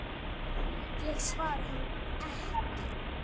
Ég svara honum ekki.